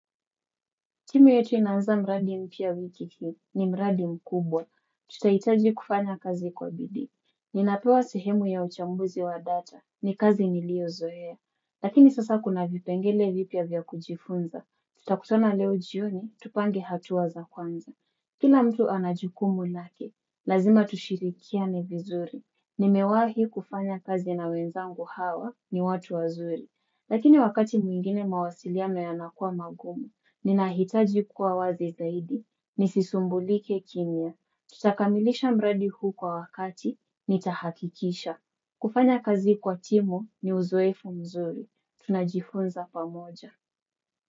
Timu yetu inaanza mradi mpya wiki hii ni mradi mkubwa. Tutahitaji kufanya kazi kwa bidii. Ninapewa sehemu ya uchambuzi wa data ni kazi niliozoea. Lakini sasa kuna vipengele vipya vya kujifunza. Tutakutana leo jioni, tupange hatua za kwanza. Kila mtu ana jukumu lake, lazima tushirikiane vizuri. Nimewahi kufanya kazi na wenzangu hawa ni watu wazuri. Lakini wakati mwingine mawasiliano yanakuwa magumu. Ninahitaji kuwa wazi zaidi. Nisisumbulike kimya. Tutakamilisha mradi huu kwa wakati. Nitahakikisha. Kufanya kazi kwa timu ni uzoefu mzuri. Tunajifunza pamoja.